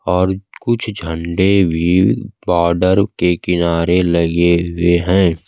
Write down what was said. और कुछ झंडे भी बॉर्डर के किनारे लगे हुए हैं।